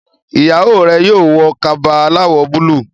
ìyàwó rẹ yóò wọ Kaba aláwọ̀ búlúù